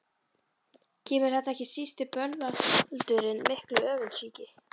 Kemur þar ekki síst til bölvaldurinn mikli, öfundsýki.